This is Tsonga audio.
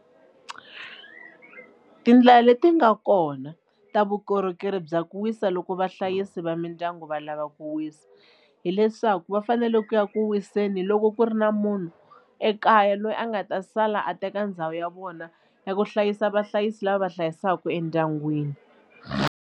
Tindlela leti nga kona ta vukorhokeri bya ku wisa loko vahlayisi va mindyangu va lava ku wisa hileswaku va fanele ku ya ku wiseni loko ku ri na munhu ekaya loyi a nga ta sala a teka ndhawu ya vona ya ku hlayisa vahlayisi lava va hlayisaka endyangwini.